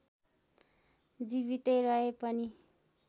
जीवितै रहे पनि